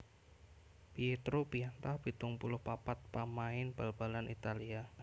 Pietro Pianta pitung puluh papat pamain bal balan Italia